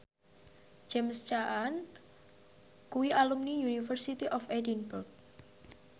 James Caan kuwi alumni University of Edinburgh